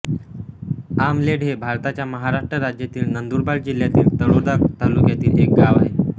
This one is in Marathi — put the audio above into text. आमलेड हे भारताच्या महाराष्ट्र राज्यातील नंदुरबार जिल्ह्यातील तळोदा तालुक्यातील एक गाव आहे